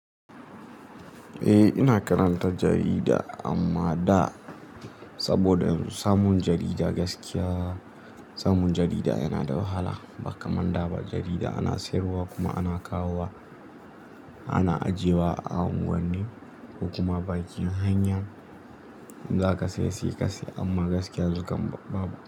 Eh, ina karanta jarida amma da saboda yanzu samun jarida gaskiya samun jarida yana da wahala ba kaman da ba jarida ana siyarwa kuma ana kawo wa ana ajiye wa a unguwanni kuma bakin hanya in za ka siyi ka siyi amma gaskiya yanxu kan babu.